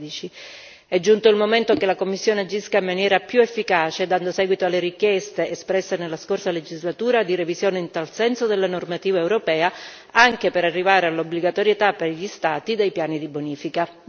2013. È giunto il momento che la Commissione agisca in maniera più efficace dando seguito alle richieste espresse nella scorsa legislatura di revisione in tal senso della normativa europea, anche per arrivare all'obbligatorietà per gli Stati dei piani di bonifica.